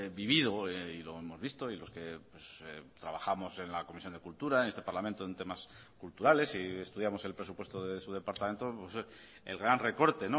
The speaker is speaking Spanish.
vivido y lo hemos visto y los que trabajamos en la comisión de cultura en este parlamento en temas culturales y estudiamos el presupuesto de su departamento el gran recorte